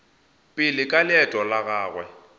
pele ka leeto la gagwe